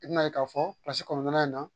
I bɛn'a ye k'a fɔ kɔnɔntɔnnan in na